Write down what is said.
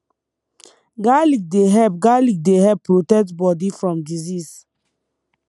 garlic dey help garlic dey help protect body from disease